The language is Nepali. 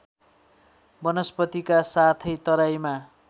वनस्पतिका साथै तराईमा